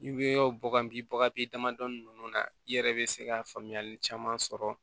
I bɛ bɔ bagan bi bagan i damadɔni ninnu na i yɛrɛ bɛ se ka faamuyali caman sɔrɔ